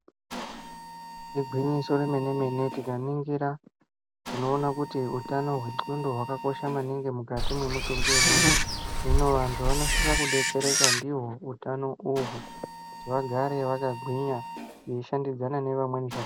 Igwinyiso remenemene tikaningira tinoona kuti utano hwendxondo wakakosha maningi mukati memutumbi wemuntu vantu vanosisa kudetsereka ndiwo utano uhu kuti vagare vakagwinya vachishandidzane nevamweni zvakanaka.